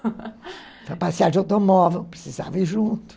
Para passear de automóvel, precisava ir junto.